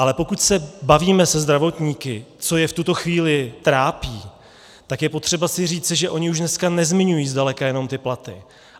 Ale pokud se bavíme se zdravotníky, co je v tuto chvíli trápí, tak je potřeba si říci, že oni už dneska nezmiňují zdaleka jenom ty platy.